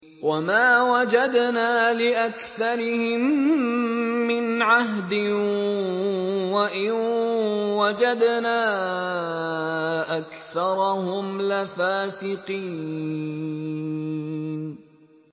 وَمَا وَجَدْنَا لِأَكْثَرِهِم مِّنْ عَهْدٍ ۖ وَإِن وَجَدْنَا أَكْثَرَهُمْ لَفَاسِقِينَ